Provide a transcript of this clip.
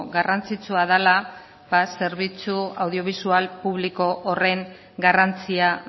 garrantzitsua dela ba zerbitzu audiobisual publiko horren garrantzia